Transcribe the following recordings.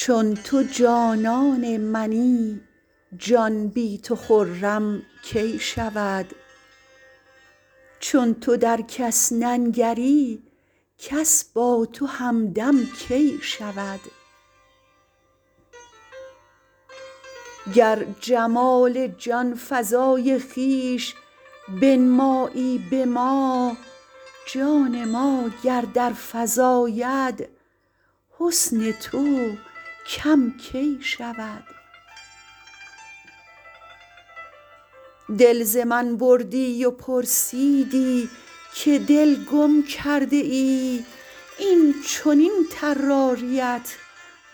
چون تو جانان منی جان بی تو خرم کی شود چون تو در کس ننگری کس با تو همدم کی شود گر جمال جانفزای خویش بنمایی به ما جان ما گر در فزاید حسن تو کم کی شود دل ز من بردی و پرسیدی که دل گم کرده ای این چنین طراریت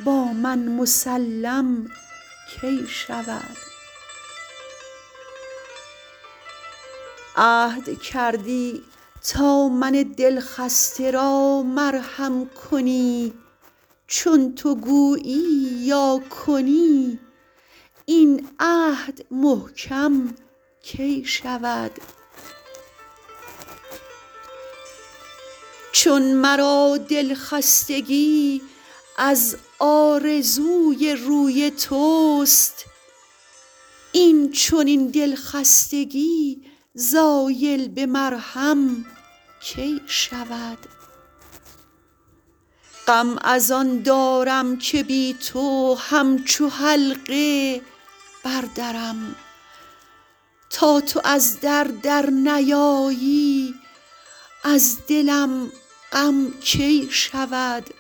با من مسلم کی شود عهد کردی تا من دل خسته را مرهم کنی چون تو گویی یا کنی این عهد محکم کی شود چون مرا د ل خستگی از آرزوی روی توست این چنین د ل خستگی زایل به مرهم کی شود غم از آن دارم که بی تو همچو حلقه بر درم تا تو از در در نیایی از دلم غم کی شود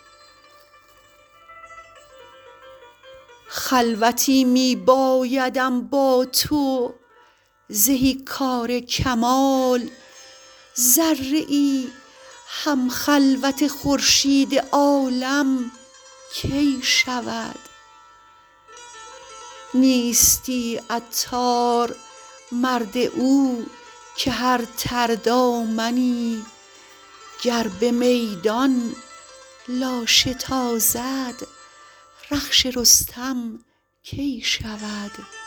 خلوتی می بایدم با تو زهی کار کمال ذره ای هم خلوت خورشید عالم کی شود نیستی عطار مرد او که هر تر دامنی گر به میدان لاشه تازد رخش رستم کی شود